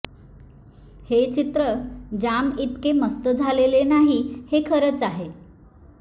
हे चित्र जाम ईतके मस्त झालेले नाही हे खरच आहे